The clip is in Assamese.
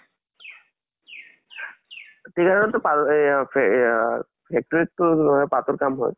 tea garden ত পাতৰ এয়া এইয়া factory ত টো তোমাৰ পাতৰ কাম হয়।